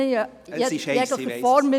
Ich entschuldige mich in jeglicher Form.